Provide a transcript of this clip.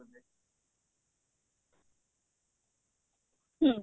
ହୁଁ